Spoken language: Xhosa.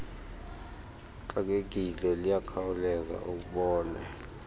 uxakekile liyakhawuleza ubone